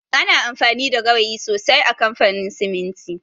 Ana amfani da gawayi sosai a kamfanin siminti